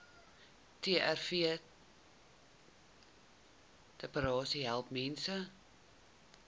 trvterapie help mense